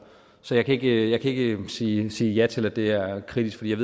så jeg kan ikke ikke sige sige ja til at det er kritisabelt